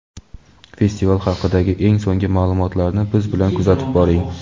festival haqidagi eng so‘nggi ma’lumotlarni biz bilan kuzatib boring.